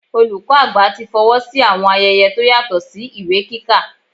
Olùkọ́ àgbà tí fọwọ́ sí àwọn ayẹyẹ tó yàtọ̀ sí ìwé kíkà.